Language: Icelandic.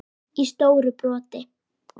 í stóru broti.